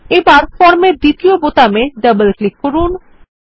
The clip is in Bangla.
এখন ফর্মের দ্বিতীয় বোতামে ডবল ক্লিক করুন